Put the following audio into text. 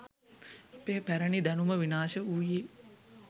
අපේ පැරණි දැනුම විනාශ වූයේ